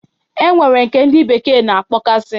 E nwere nke ndi bekee na-akpọ gasi